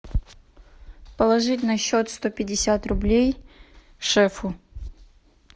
положить на счет сто пятьдесят рублей шефу